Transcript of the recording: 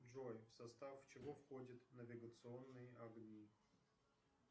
джой в состав чего входят навигационные огни